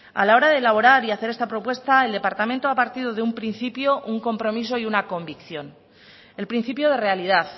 a la hora de elaborar y hacer esta propuesta el departamento ha partido de un principio un compromiso y una convicción el principio de realidad